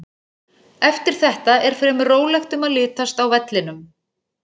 Eftir þetta er fremur rólegt um að litast á vellinum.